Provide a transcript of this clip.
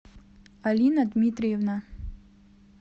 алина дмитриевна